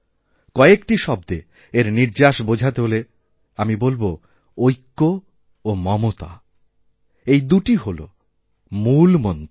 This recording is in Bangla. কয়েকটি শব্দে এর নির্যাসবোঝাতে হলে আমি বলব ঐক্য ও মমতা এই দুটি হল মূল মন্ত্র